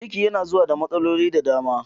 Ciki yana zuwa da matsaloli da dama